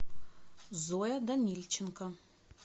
зоя данильченко